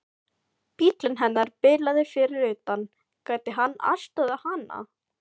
Bíllinn hennar bilaði fyrir utan, gæti hann aðstoðað hana?